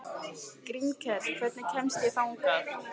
Grímkell, hvernig kemst ég þangað?